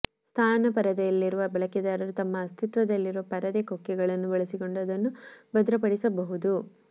ಸ್ನಾನ ಪರದೆಯಲ್ಲಿರುವ ಬಳಕೆದಾರರು ತಮ್ಮ ಅಸ್ತಿತ್ವದಲ್ಲಿರುವ ಪರದೆ ಕೊಕ್ಕೆಗಳನ್ನು ಬಳಸಿಕೊಂಡು ಅದನ್ನು ಭದ್ರಪಡಿಸಬಹುದು